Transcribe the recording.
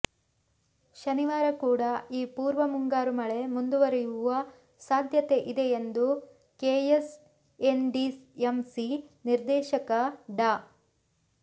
ಶನಿವಾರ ಕೂಡ ಈ ಪೂರ್ವಮುಂಗಾರು ಮಳೆ ಮುಂದುವರಿಯುವ ಸಾಧ್ಯತೆ ಇದೆ ಎಂದು ಕೆಎಸ್ಎನ್ಡಿಎಂಸಿ ನಿರ್ದೇಶಕ ಡಾ